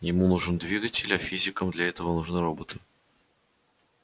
ему нужен двигатель а физикам для этого нужны роботы